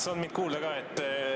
Kas on mind kuulda?